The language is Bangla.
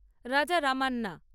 রাজারামান্যা